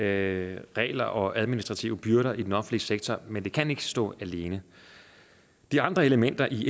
af regler og mængden af administrative byrder i den offentlige sektor men det kan ikke stå alene de andre elementer i